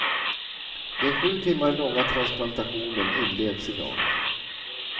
Den sju timmar långa transplantationen inleds i dag.